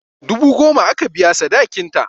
Dubu goma aka biya sadakin ta